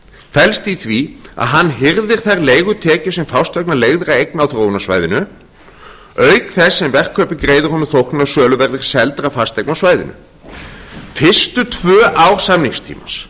felst í því að hann hirðir þær leigutekjur sem fást vegna leigðraeigna á þróunarsvæðinu auk þess sem verkkaupi greiðir honum þóknun af söluverði seldra fasteigna á